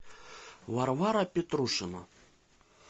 варвара петрушина